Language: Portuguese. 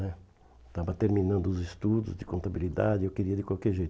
né Estava terminando os estudos de contabilidade e eu queria de qualquer jeito.